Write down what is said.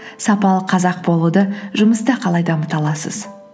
сапалы қазақ болуды жұмыста қалай дамыта аласыз